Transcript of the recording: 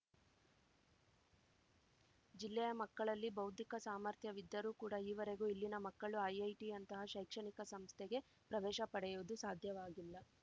ಜಿಲ್ಲೆಯ ಮಕ್ಕಳಲ್ಲಿ ಬೌದ್ಧಿಕ ಸಾಮರ್ಥ್ಯವಿದ್ದರೂ ಕೂಡ ಈವರೆಗೂ ಇಲ್ಲಿನ ಮಕ್ಕಳು ಐಐಟಿಯಂತಹ ಶೈಕ್ಷಣಿಕ ಸಂಸ್ಥೆಗೆ ಪ್ರವೇಶ ಪಡೆಯುವುದು ಸಾಧ್ಯವಾಗಿಲ್ಲ